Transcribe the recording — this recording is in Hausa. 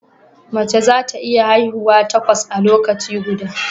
Mace za ta iya haihuwa takwas a lokaci guda